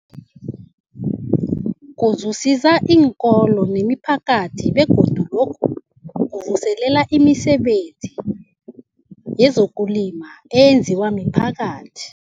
Kuzuzisa iinkolo nemiphakathi begodu lokhu kuvuselela imisebenzi yezokulima eyenziwa miphakathi.